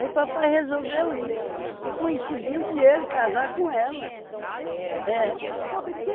Aí papai resolveu ir e coincidiu de ele casar com ela. É.